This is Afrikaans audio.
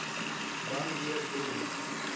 dan weer drie